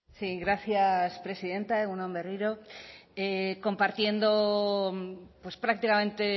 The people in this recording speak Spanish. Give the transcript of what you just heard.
sí gracias presidenta egun on berriro compartiendo prácticamente